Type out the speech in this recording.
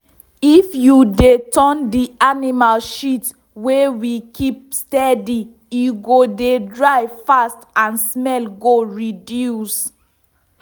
if you dey turn the animal shit wey we keep steady e go dey dry fast and smell go reduce.